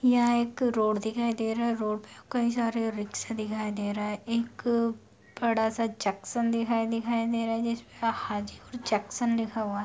यहाँ एक रोड दिखाई दे रहा है रोड पे कई सारे रिक्शे दिखाई दे रहा है एक अ बड़ा सा जंक्शन दिखाई दे रहा है जिस पे हाजीपुर जंक्शन लिखा हुआ है।